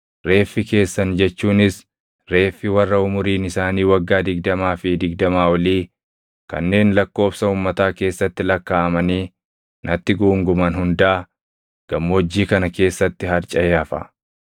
Reeffi keessan jechuunis reeffi warra umuriin isaanii waggaa digdamaa fi digdamaa olii kanneen lakkoobsa uummataa keessatti lakkaaʼamanii natti guunguman hundaa gammoojjii kana keessatti harcaʼee hafa.